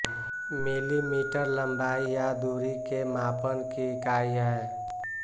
millimetre लम्बाई या दूरी के मापन की ईकाई है